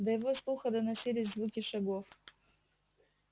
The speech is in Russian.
до его слуха доносились звуки шагов